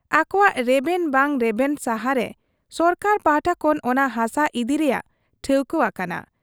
ᱟᱠᱚᱣᱟᱜ ᱨᱮᱵᱮᱱ ᱵᱟᱝ ᱨᱮᱵᱮᱱ ᱥᱟᱦᱟᱨᱮ ᱥᱚᱨᱠᱟᱨ ᱯᱟᱦᱴᱟ ᱠᱷᱚᱱ ᱚᱱᱟ ᱦᱟᱥᱟ ᱤᱫᱤ ᱨᱮᱭᱟᱜ ᱴᱷᱟᱹᱣᱠᱟᱹ ᱟᱠᱟᱱᱟ ᱾